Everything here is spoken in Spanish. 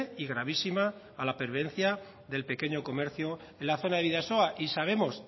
y gravísima a la pervivencia del pequeño comercio en la zona de bidasoa y sabemos